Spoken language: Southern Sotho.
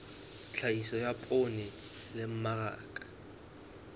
tlhahiso ya poone le mmaraka